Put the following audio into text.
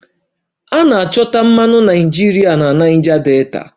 A na-achọta mmanụ naịjirịa na Niger Delta